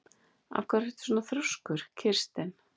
Af hverju ertu svona þrjóskur, Kirsten?